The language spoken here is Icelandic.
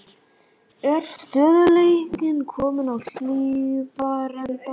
Er stöðugleikinn kominn á Hlíðarenda?